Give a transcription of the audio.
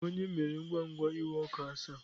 Ònye mere ngwa ngwa na iwe ọkụ asaa?